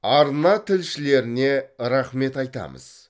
арна тілшілеріне рахмет айтамыз